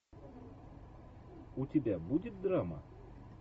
у тебя будет драма